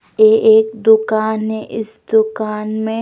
ये एक दुकान है इस दुकान में--